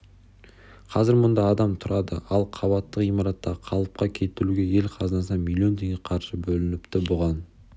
қазір мұнда адам тұрады ал қабатты ғимаратты қалыпқа келтіруге ел қазынасынан млн теңге қаржы бөлініпті бұған